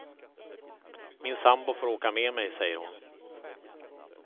Min sambo får åka med mig, säger hon.